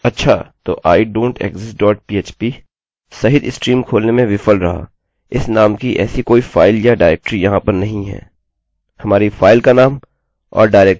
अच्छा! तो idontexist dot php सहित स्ट्रीम खोलने में विफल रहा; इस नाम की ऐसी कोई फाइल या डाइरेक्टरी यहाँ पर नहीं है